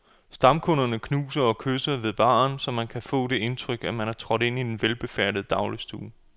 Stamkunderne knuser og kysser ved baren, og man kan få det indtryk, at man er trådt ind i en velbefærdet dagligstue.